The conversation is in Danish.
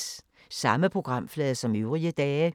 Samme programflade som øvrige dage